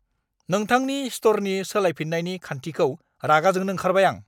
नोंथांनि स्ट'रनि सोलायफिन्नायनि खान्थिखौ रागा जोंनो ओंखारबाय आं।